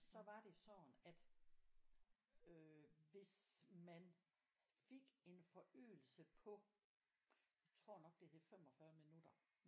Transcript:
Så var det sådan at øh hvis man fik en forøgelse på jeg tror nok det hed 45 minutter